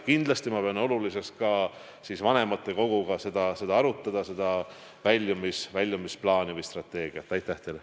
Kindlasti pean oluliseks ka vanematekoguga selle väljumisplaani või -strateegia arutamist.